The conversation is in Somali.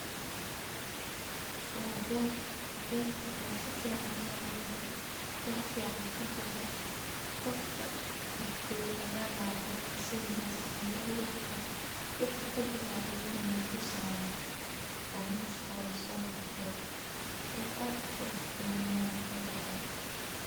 Waa beer berta oo si fican lo abure wax fican kabexe qofka dax jogo aya laha beerta wixi kabaxe ayu natusi haya oo mesha oga sobaxe wax aad uqurux badan aya kabaxe.